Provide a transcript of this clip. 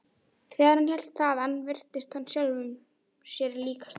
Þegar hann hélt þaðan virtist hann sjálfum sér líkastur.